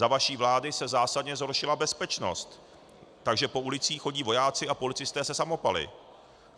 Za vaší vlády se zásadně zhoršila bezpečnost, takže po ulicích chodí vojáci a policisté se samopaly.